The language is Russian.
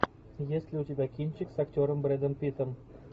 есть ли у тебя кинчик с актером брэдом питтом